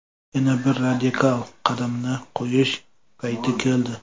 Yana bir radikal qadamni qo‘yish payti keldi.